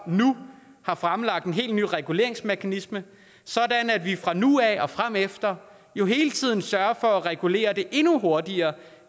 nu har fremlagt en helt ny reguleringsmekanisme sådan at vi fra nu af og fremefter hele tiden sørger for at regulere det endnu hurtigere